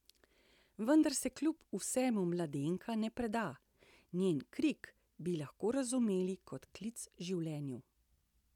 Vendar se kljub vsemu mladenka ne preda, njen krik bi lahko razumeli kot klic življenju.